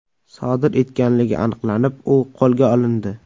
sodir etganligi aniqlanib, u qo‘lga olindi.